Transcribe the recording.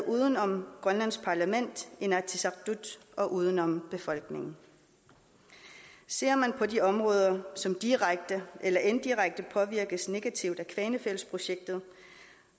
uden om grønlands parlament inatsisartut og uden om befolkningen ser man på de områder som direkte eller indirekte påvirkes negativt af kvanefjeldsprojektet